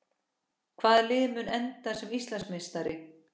Hvaða lið mun enda sem Íslandsmeistari?